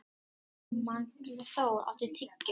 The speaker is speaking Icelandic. Magnþór, áttu tyggjó?